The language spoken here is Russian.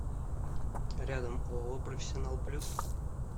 рядом ооо профессионал плюс